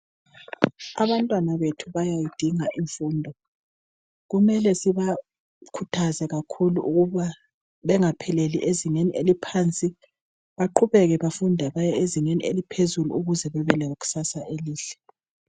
Abantwana bethu bayayidinga imfundo, kumele sibakhuthaze kakhulu ukuba bengapheleli ezingeni eliphansi baqhubeke bafunde beye ezingeni eliphezulu ukuze bebe lekusasa elihle.